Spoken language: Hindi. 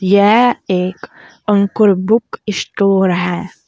यह एक अंकुर बुक स्टोर है।